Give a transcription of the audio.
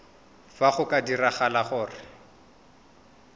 fa go ka diragala gore